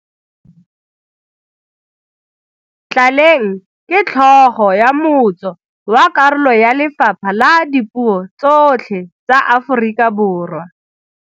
Tlaleng ke tlhogo ya motso wa karolo ya lefapha la dipuo tsotlhe tsa Aforika Borwa.